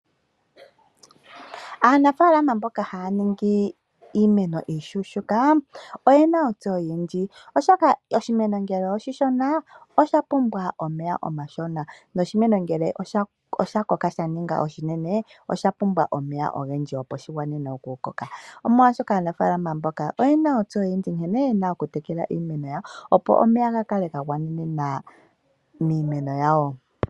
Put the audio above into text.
Aanafaalama mboka haya ningi iimeno iishuushuka oye na ontseyo oyindji, oshoka oshimeno ngele oshishona osha pumbwa omeya omashona ,noshimeno ngele osha koka sha ninga oshinene osha pumbwa omeya ogendji, opo shi vule okukoka . Aanafaalama mboka oye na ontseyo oyindji nkene ye na okutekela iimeno yawo opo omeya ga kale ga gwanena iimeno yawo.